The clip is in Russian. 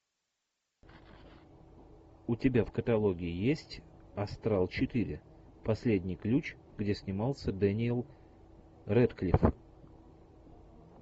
у тебя в каталоге есть астрал четыре последний ключ где снимался дэниел рэдклифф